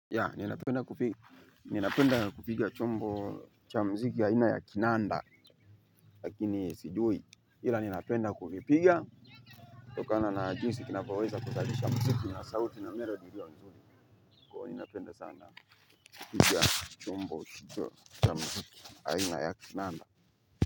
Ninapenga kupiga chombo cha muziki aina ya kinanda lakini sijui ila ninapenda kuvipiga kutokana na jinsi kinavoweza kuzalisha muziki na sauti na melodi hiyo nzuri kwa hiyo ninapenda sana kupiga chombo hicho cha muziki aina ya kinanda.